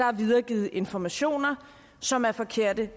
er videregivet informationer som er forkerte